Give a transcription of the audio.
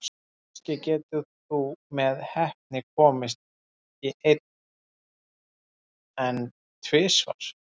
Kannski getur þú með heppni komist í einn, en tvisvar?